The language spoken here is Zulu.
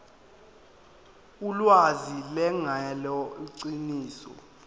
ulwazi lungelona iqiniso